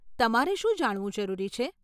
તમારે શું જાણવું જરૂરી છે?